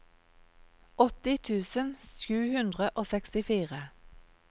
åtti tusen sju hundre og sekstifire